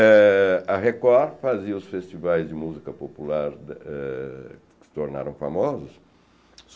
Eh a Record fazia os festivais de música popular eh que se tornaram famosos.